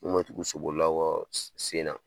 Mun me tugu so bolilaw kɔ s sen na